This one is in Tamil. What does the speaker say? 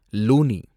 லூனி